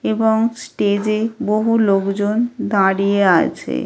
এবং স্টেজে বহু লোকজন দাঁড়িয়ে আছে।